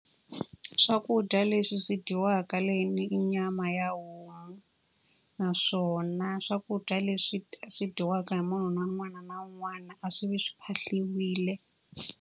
Swakudya leswi swi dyiwaka i nyama ya homu. Naswona swakudya leswi swi dyiwaka hi munhu un'wana na un'wana a swi vi swi phahliwile.